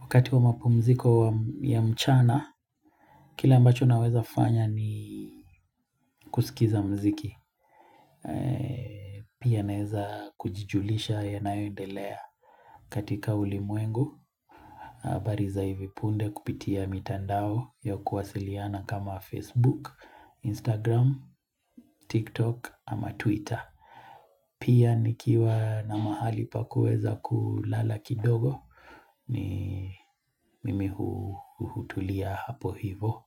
Wakati wa mapumziko ya mchana, kile ambacho naweza fanya ni kusikiza mziki. Pia naweza kujijulisha yanayo endelea. Katika ulimwengu, habari za hivi punde kupitia mitandao ya kuwasiliana kama Facebook, Instagram, TikTok ama Twitter. Pia nikiwa na mahali pa kueza kulala kidogo ni mimi huhutulia hapo hivo.